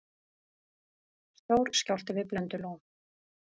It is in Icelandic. Stór skjálfti við Blöndulón